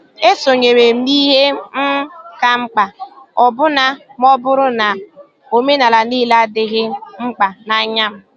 E sonyeere m n' ihe um kà mkpa, ọbụna ma ọ bụrụ na omenala niile adịghị mkpa n’anya m.